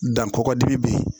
Dan kɔkɔdimi be yen